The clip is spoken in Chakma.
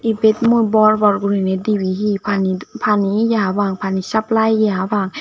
ibet mui bor bor guriney dibey hi pani pani ye hapang pani suplai ye hapang.